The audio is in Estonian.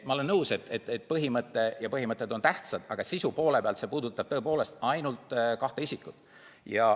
Ma olen nõus, et põhimõtted on tähtsad, aga sisu poole pealt see puudutab tõepoolest ainult kahte isikut.